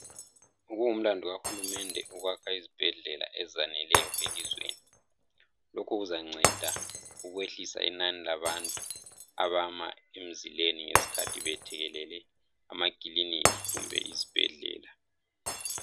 kungumlando kahulumende ukwakha izibhedlela ezaneleyo elizweni lokhu kuzanceda ukwehlisa inani labantu abama emzileni ngesikhathe bethekelele amakiliniki kumbe izibhedlela